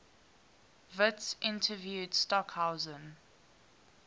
witts interviewed stockhausen